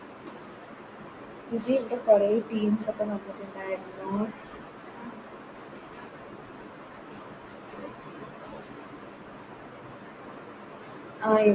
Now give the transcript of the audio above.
വിജി ഇൻറെ പഴെയ Teams ഒക്കെ വന്നിട്ടുണ്ടായിരുന്നോ ആ